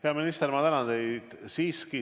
Hea minister, ma tänan teid!